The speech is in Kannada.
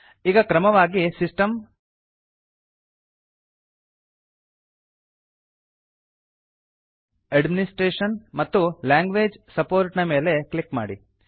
ಈಗ ಕ್ರಮವಾಗಿ ಸಿಸ್ಟಮ್ ಅಡ್ಮಿನಿಸ್ಟ್ರೇಷನ್ ಮತ್ತು ಲ್ಯಾಂಗ್ವೇಜ್ ಸಪೋರ್ಟ್ ನ ಮೇಲೆ ಕ್ಲಿಕ್ ಮಾಡಿ